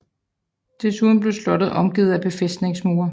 Desuden blev slottet omgivet af befæstningsmure